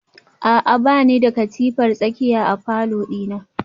A'a bani da katifar tsakiya a falor dina